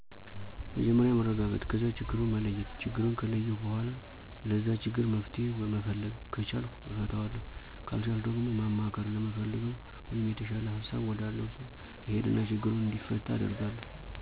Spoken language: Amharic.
መጀመርያ መረጋጋት ከዛ ችግሩን መለየት ችግሩን ከለየሁ በኋላ ለዛ ችግር መፍትሄ መፈለግ ከቻልሁ እፈታዋለሁ ካልቻልሁ ደግሞ ማማከር ለምፈለገው/የተሻለ ሀሳብ ወዳለው ሰው እሄድና ችግሩ እንዲፈታ አደርጋለሁ።